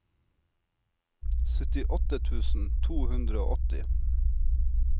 syttiåtte tusen to hundre og åtti